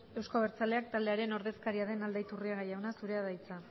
euzko abertzaleak taldearen ordezkariaren aldaiturriaga jauna zurea da hitza